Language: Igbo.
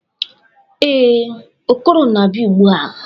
ee, Okoro na-abia ugbua